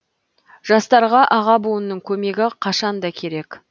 жастарға аға буынның көмегі қашан да керек